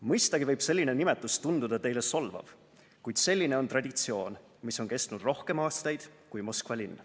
Mõistagi võib selline nimetus tunduda teile solvav, kuid selline on traditsioon, mis on kestnud rohkem aastaid kui Moskva linn.